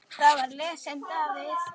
Þar var lesinn David